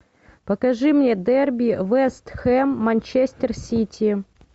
покажи мне дерби вест хэм манчестер сити